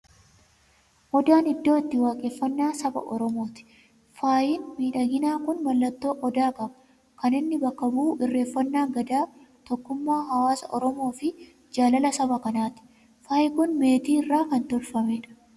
Odaan iddoo itti waaqeffannaa saba Oromooti. Faayin miidhaginaa kun mallattoo Odaa qaba. Kan inni bakka bu'u, irreeffannaa Gadaa, tokkummaa hawwaasa Oromoo fi jaalala saba kanaati. Faayin kun meetii irraa kan tolfamedha.